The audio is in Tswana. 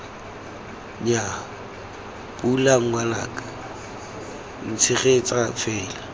nnyaa pula ngwanaka ntshegetse fela